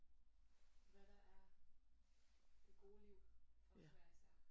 Hvad der er det gode liv for hver især